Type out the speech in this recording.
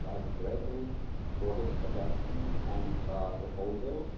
I am grateful for his suggestions and proposals.